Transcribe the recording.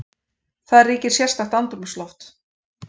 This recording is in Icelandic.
Þar ríkir sérstakt andrúmsloft.